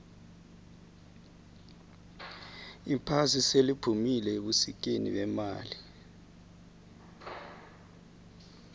iphasi seliphumile ebusikeni bemali